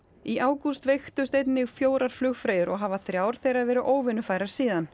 í ágúst veiktust einnig fjórar flugfreyjur og hafa þrjár þeirra verið óvinnufærar síðan